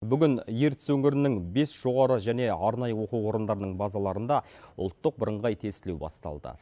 бүгін ертіс өңірінің бес жоғары және арнайы оқу орындарының базаларында ұлттық бірыңғай тестілеу басталды